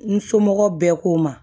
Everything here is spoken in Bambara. N somɔgɔw bɛɛ ko n ma